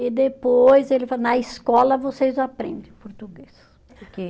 E depois ele falou, na escola vocês aprendem português, porque